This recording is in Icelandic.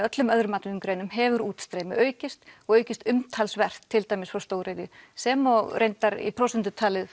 öllum öðrum atvinnugreinum hefur útstreymi aukist og aukist umtalsvert til dæmis frá stóriðju sem og í prósentu talið